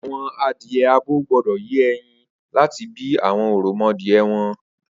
Awọn adìẹ ábó gbọdọ yé ẹyin làtí bi awọn òròmọadiẹ wọn